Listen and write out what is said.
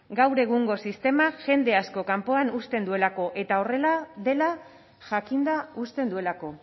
gaur egungo sistemak jende asko kanpoan uzten duelako eta horrela dela jakinda uzten duelako